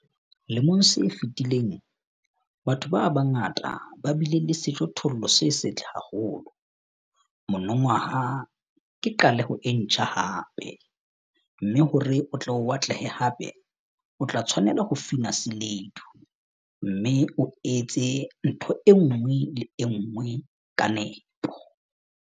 Lemong se fetileng, batho ba bangata ba bile le sejothollo se setle haholo - monongwaha ke qaleho e ntjha hape, mme hore o atlehe hape, o tla tshwanela ho fina seledu, mme o etse ntho e nngwe le e nngwe ka nepo.